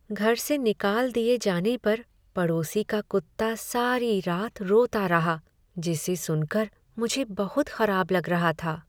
घर से निकाल दिए जाने पर पड़ोसी का कुत्ता सारी रात रोता रहा जिसे सुनकर मुझे बहुत खराब लग रहा था।